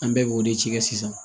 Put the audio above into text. An bɛɛ b'o de ci kɛ sisan